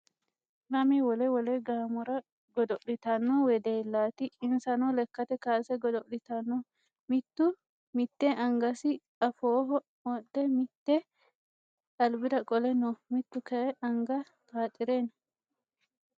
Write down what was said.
Lame wole wole gaamora godo'litanno wedellaati insano lekkate kaase godo'litanno mittu mitte angasi afooho wodhe mitte alibira qole no mittu kayii anga xaaxire no